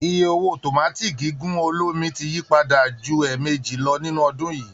Iye owó tòmátì gígùn olómi ti yí padà ju ẹ̀ẹ̀mejì lọ nínú ọdún yìí